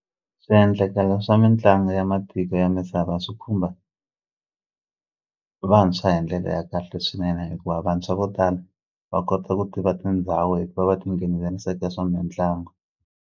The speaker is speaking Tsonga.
Swiendlakalo swa mitlangu ya matiko ya misava swi khumba vantshwa hi ndlela ya kahle swinene hikuva vantshwa vo tala va kota ku tiva tindhawu hikuva va tinghenelerise eka swa mitlangu.